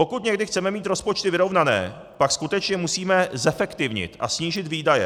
Pokud někdy chceme mít rozpočty vyrovnané, pak skutečně musíme zefektivnit a snížit výdaje.